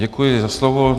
Děkuji za slovo.